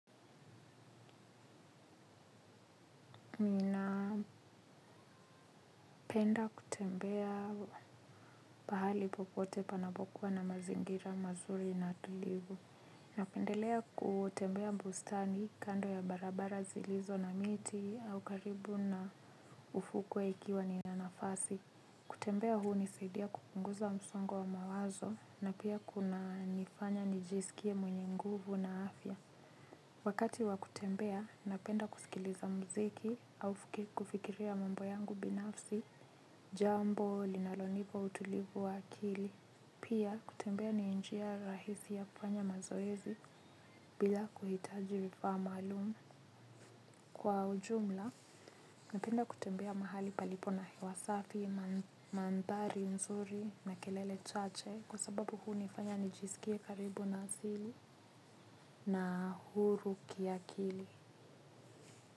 Ninapenda kutembea pahali popote panapokuwa na mazingira mazuri na tulivu. Napendelea kutembea mbustani kando ya barabara zilizo na miti au karibu na ufukwe ikiwa nina nafasi. Kutembea huunisaidia kupunguza msongo wa mawazo na pia kunanifanya nijisikie mwenye nguvu na afya. Wakati wa kutembea, napenda kusikiliza mziki au kufikiria mambo yangu binafsi. Jambo linalonipa utulivu wa akili. Pia kutembea ni njia rahisi ya kufanya mazoezi bila kuhitaji vifaa maalum. Kwa ujumla, napenda kutembea mahali palipo na hewasafi, mandhari, nzuri na kelele chache. Kwa sababu huunifanya nijisikie karibu na asili na huru kiakili.